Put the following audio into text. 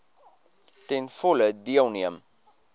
ten volle deelneem